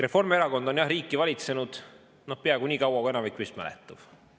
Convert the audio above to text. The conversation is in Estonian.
Reformierakond on, jah, riiki valitsenud peaaegu niikaua, kui enamik meist mäletab.